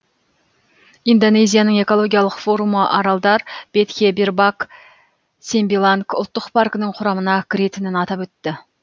индонезияның экологиялық форумы аралдар бетхе бербак сембиланг ұлттық паркінің құрамына кіретінін атап өтті